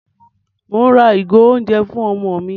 Mò ń ra ìgò oúnjẹ fún ọmọ mi.